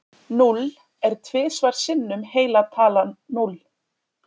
Núll er tvisvar sinnum heila talan núll.